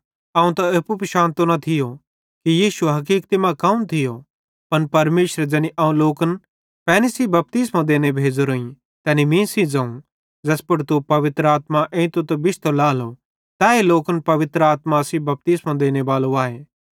अवं त एप्पू पिशानतो न थियो कि यीशु हकीक्ति मां कौन थियो पन परमेशरे ज़ैनी अवं लोकन पैनी सेइं बपतिस्मो देने भेज़ो तैनी मीं सेइं ज़ोवं ज़ैस पुड़ तू पवित्र आत्मा एइतो त बिश्तो लाएलो तैए लोकन पवित्र आत्मा सेइं बपतिस्मो देनेबालो आए